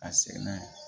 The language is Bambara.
A sɛgɛn na